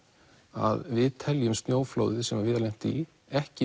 að við teljum snjóflóðið sem Viðar lenti í ekki